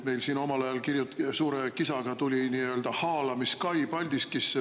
Meil siin omal ajal suure kisaga tuli nii-öelda haalamiskai Paldiskisse.